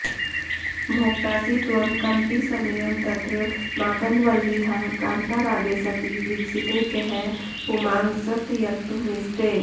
भोक्तासि त्वं कमपि समयं तत्र माकन्दवल्लीः कान्तारागे सति विकसिते कः पुमांस्त्यक्तुमीष्टे